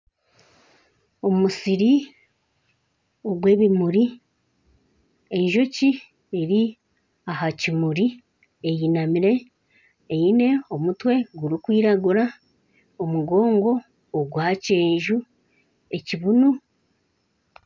Omusiri gw'ebimuri, enjoki eri aha kimuri eyinamire eyine omutwe gurikwiragura n'omugoongo gwa kyenju.